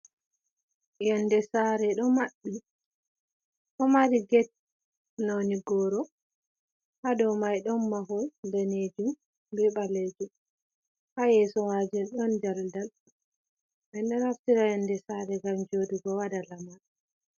Yonde sare do mabbiti, do mari get noni goro, hadow mai don mahol danejum bi balejom, ha yeso majen don daldal, min do naftira yonde sare gam jodugo wada lamar.